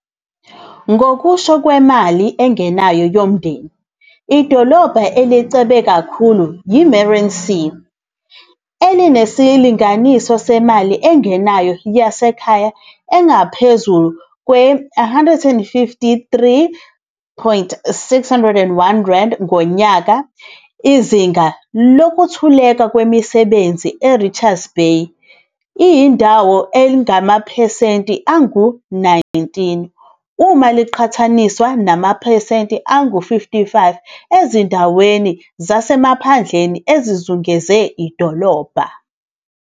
Ngokusho kwemali engenayo yomndeni, idolobha elicebe kakhulu yi-Meerensee, elinesilinganiso semali engenayo yasekhaya engaphezu kwe-R153,601 ngonyaka. Izinga lokuntuleka kwemisebenzi eRichards Bay iyodwa lingamaphesenti angu-19, uma kuqhathaniswa namaphesenti angu-55 ezindaweni zasemaphandleni ezizungeze idolobha.